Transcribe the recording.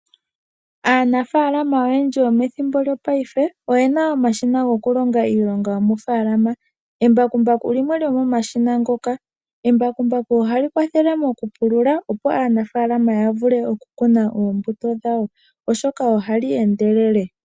Aanafalama oyendji yomethimbo lyo paife oyena omashina go kulonga iilonga yomo faalama. Embakumbaku limwe lyo momashina ngoka. Embakumbaku ohali kwathele mokupulula opo aanafalama ya vule okukuna oombuto dhawo oshoka ohali endelele.